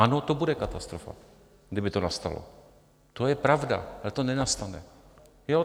Ano, to bude katastrofa, kdyby to nastalo, to je pravda, ale to nenastane.